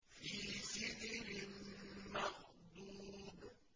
فِي سِدْرٍ مَّخْضُودٍ